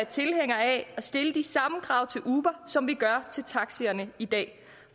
tilhængere af at stille de samme krav til uber som vi gør til taxaerne i dag